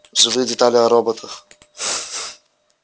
живые детали о роботах